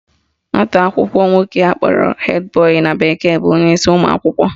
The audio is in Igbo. Nwata akwụkwọ nwoke akpọrọ head boy na bekee bụ onyeisi ụmụakwụkwọ